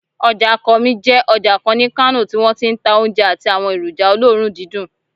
Ọjà Kurmi jẹ́ ọjà kan ní Kano tí wọ́n ti ń ta oúnjẹ àti àwọn èròjà olóòórùn dídùn